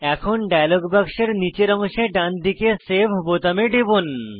এখন ডায়লগ বাক্সের নীচের অংশে ডানদিকে সেভ বোতামে টিপুন